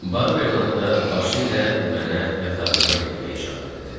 Barberin ana da başı ilə mənə yatağıma getmək işarə elədi.